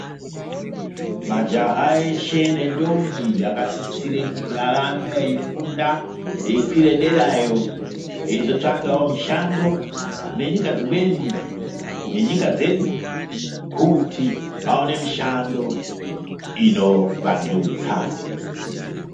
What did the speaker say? Majaha eshe ne ndombi aka sisire kuti arambe eyi funda eyi kwire derayo eyizo tsvakawo mishando kune nyika dzimweni ne nyika dzedu kuti vaone mushando ino wandudza.